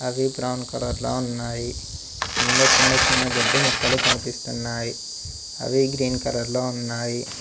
అవి brown colour లో ఉన్నాయి కింద చిన్న చిన్న గడ్డి మొక్కలు కనిపిస్తున్నాయి అవి గ్రీన్ కలర్ లో ఉన్నాయి.